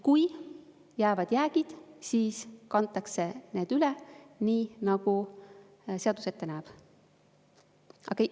Kui jäävad jäägid, siis kantakse need üle nii, nagu seadus ette näeb.